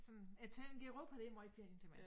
Sådan at tage rundt i Europa det måj ferie til mig